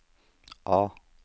A